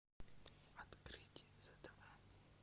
открыть з тв